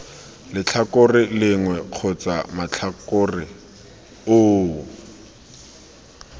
letlhakore lengwe kgotsa matlhakore oo